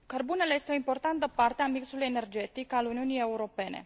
Cărbunele este o importantă parte a mixului energetic al Uniunii Europene.